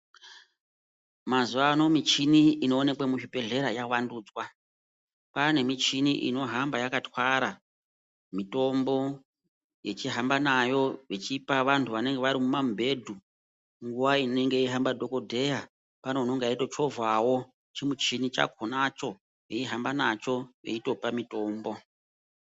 Mazuwa ano michini inooneka muzvibhedhlera yavandudzwa. Kwaane michini inohamba yakathwara mitombo, yechihamba nayo vechipa vanthu vanenge vari mumamibhedhu. Nguwa inenge yeihamba dhokodheya, pane unenge eitochovhawo chimuchini chakhonacho, eihamba nacho eitopa mitombo.